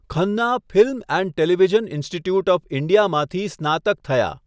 Khanna film and television institute of ઈન્ડિયામાંથી સ્નાતક થયા.